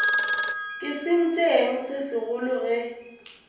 ke sentšeng se segolo ge